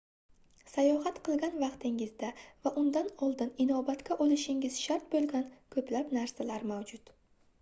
sayohat qilgan vaqtingizda va undan oldin inobatga olishingiz shart boʻlgan koʻplab narsalar mavjud